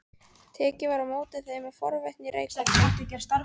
Tekið var á móti þeim með forvitni í Reykholti.